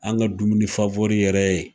An ŋa dumuni yɛrɛ ye